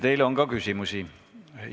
Teile on ka küsimusi.